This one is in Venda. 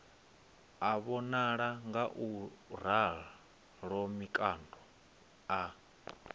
a vhonala ngauralo mikando a